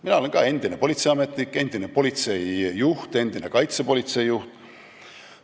Mina olen endine politseiametnik, endine politseijuht, endine kaitsepolitseijuht.